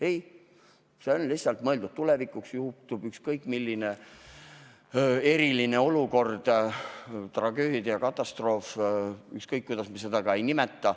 Ei, see eelnõu on mõeldud lihtsalt tuleviku tarbeks, tulgu ette mis tahes eriline olukord – tragöödia, katastroof, ükskõik kuidas me seda ka ei nimeta.